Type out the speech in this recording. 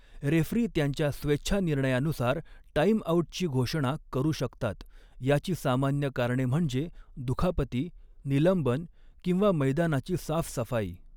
Referee त्यांच्या स्वेच्छानिर्णयानुसार टाईमआऊटची घोषणा करू शकतात, याची सामान्य कारणे म्हणजे दुखापती, निलंबन किंवा मैदानाची साफसफाई.